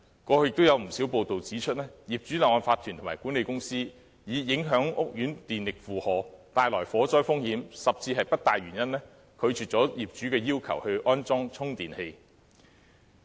過去亦有不少報道指出，業主立案法團和管理公司以影響屋苑電力負荷、帶來火災風險，甚至不帶原因，拒絕業主要求安裝充電器的訴求。